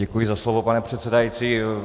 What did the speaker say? Děkuji za slovo, pane předsedající.